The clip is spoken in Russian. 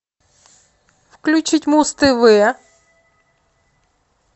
включить муз тв